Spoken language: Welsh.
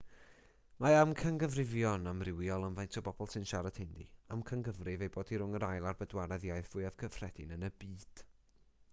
mae amcangyfrifon amrywiol am faint o bobl sy'n siarad hindi amcangyfrif ei bod hi rhwng yr ail a'r bedwaredd iaith fwyaf cyffredin yn y byd